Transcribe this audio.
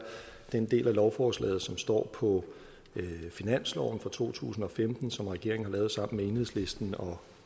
den del af lovforslaget som står på finansloven for to tusind og femten som regeringen har lavet sammen med enhedslisten og